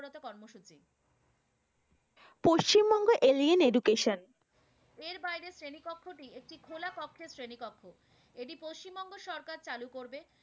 Paschimbanga alien education এর বাইরের শ্রেণীকক্ষ টি একটি খোলা কক্ষের শ্রেণীকক্ষ এটি পশ্চিম বঙ্গের সরকার চালু করবেন।